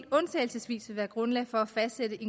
undtagelsesvis vil være grundlag for at fastsætte